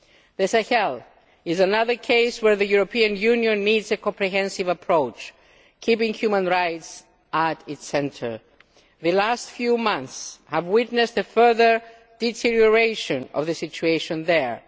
The Sahel is another case where the European Union needs a comprehensive approach, keeping human rights at its centre. The last few months have witnessed a further deterioration of the situation there.